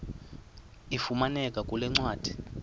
ifumaneka kule ncwadi